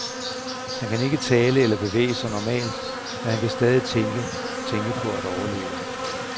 Han kan ikke tale eller bevæge sig normalt, men han kan stadig tænke, tænke på at overleve.